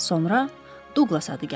Sonra Duqlas adı gəlir.